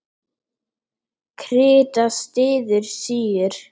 Krita styður síur.